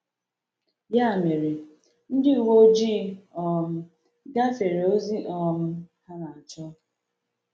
Ya mere, ndị uwe ojii um gafere ozi um ha na-achọ.